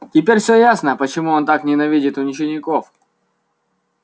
теперь всё ясно почему он так ненавидит учеников